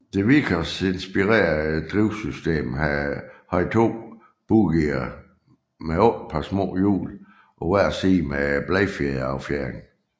Det Vickers inspirerede drivsystem havde to bogier med otte par små hjul på hver side med bladfjeder affjedring